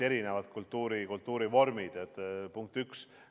Punkt üks.